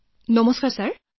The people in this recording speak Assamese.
অভিদন্য নমস্কাৰ ছাৰ